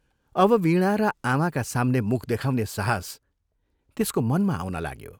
अब वीणा र आमाका साम्ने मुख देखाउने साहस त्यसको मनमा आउन लाग्यो।